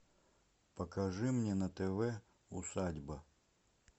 покажи мне на тв усадьба